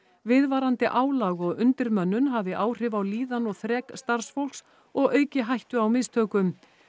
viðvarandi álag og undirmönnun hafi áhrif á líðan og þrek starfsfólks og auki hættu á mistökum